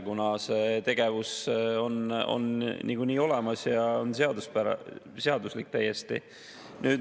Hasartmängud kui tegevus on niikuinii olemas ja see on täiesti seaduslik.